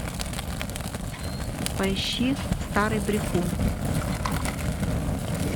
поищи старый брехун